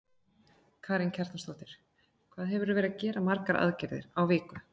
Karen Kjartansdóttir: Hvað hefurðu verið að gera margar aðgerðir á viku?